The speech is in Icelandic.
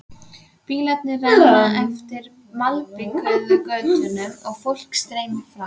Bílarnir renna eftir malbikuðum götunum og fólkið streymir fram.